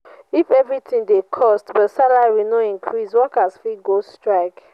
if everything dey cost but salary no increase workers fit go strike.